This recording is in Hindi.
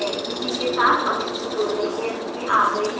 इसी के साथ हम इस tutorial के अंत में आ गए हैं